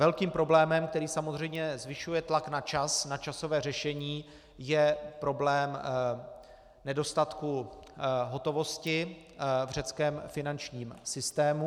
Velkým problémem, který samozřejmě zvyšuje tlak na čas, na časové řešení, je problém nedostatku hotovosti v řeckém finančním systému.